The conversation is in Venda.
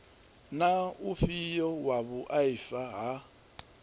na ufhio wa vhuaifa ha